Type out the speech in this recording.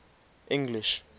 english